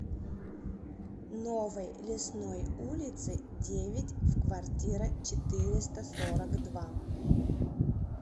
новой лесной улице девять в квартира четыреста сорок два